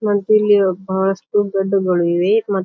ವಂತ್ತಿಲ್ಲಿ ಒಬ್ಬ ಸ್ಪಿನ್ ಗಡ್ಡುಗಳು ಇವೆ ಮತ್ತು--